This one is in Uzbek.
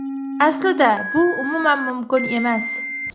Aslida bu umuman mumkin emas.